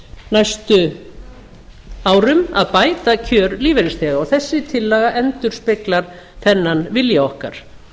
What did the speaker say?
næstu árum að bæta kjör lífeyrisþega og þessi tillaga endurspeglar þennan vilja okkar